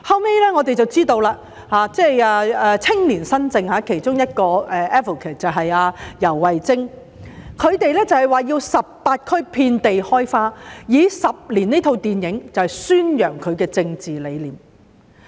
後來才知道青年新政其中一個 advocate 游蕙禎，以18區遍地開花的名義，透過《十年》這齣電影宣揚其政治理念。